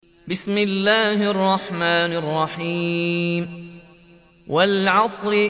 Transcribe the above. وَالْعَصْرِ